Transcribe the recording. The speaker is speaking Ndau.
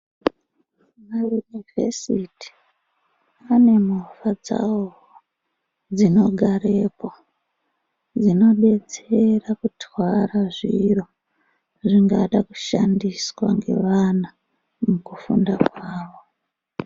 Mayunivhesiti ane movha dzawowo, dzinogarepo, dzinodetsera kurwara zviro, zvingada kushandiswa ngevana, mukufunda kwavo.